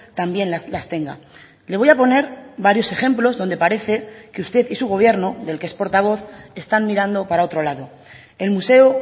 también las tenga le voy a poner varios ejemplos donde parece que usted y su gobierno del que es portavoz están mirando para otro lado el museo